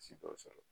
Si dɔw sɔrɔ